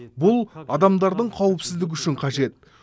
бұл адамдардың қауіпсіздігі үшін қажет